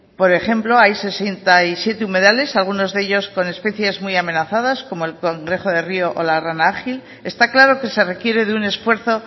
por ejemplo hay sesenta y siete humedales algunos de ellos con especies muy amenazadas como el cangrejo de río o la rana ágil está claro que se requiere de un esfuerzo